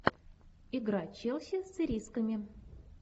игра челси с ирисками